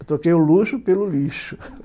Eu troquei o luxo pelo lixo